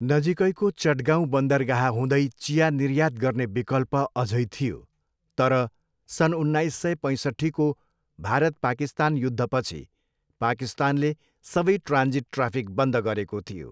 नजिकैको चटगाउँ बन्दरगाह हुँदै चिया निर्यात गर्ने विकल्प अझै थियो तर सन् उन्नाइस सय पैँसट्ठीको भारत पाकिस्तान युद्धपछि पाकिस्तानले सबै ट्रान्जिट ट्राफिक बन्द गरेको थियो।